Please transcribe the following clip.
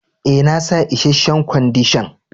E,na sa isheshen Kwandishan.